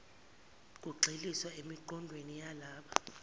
kugxilisa emiqondweni yalaba